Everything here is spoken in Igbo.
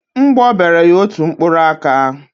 Mgbọ bere ya otu mkpụrụ aka.